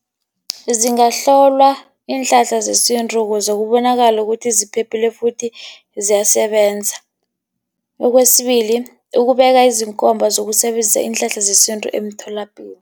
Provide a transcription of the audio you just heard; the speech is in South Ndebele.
Zingahlolwa iinhlahla zesintu ukuze zibonakale ukuthi ziphephile, futhi ziyasebenza. Okwesibili, ukubeka izinkomba zokusebenzisa iinhlahla zesintu emtholapilo.